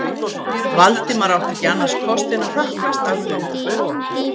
Valdimar átti ekki annars kost en að hrökklast alveg út og loka.